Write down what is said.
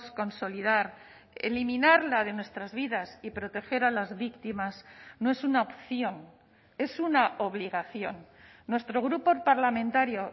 consolidar eliminarla de nuestras vidas y proteger a las víctimas no es una opción es una obligación nuestro grupo parlamentario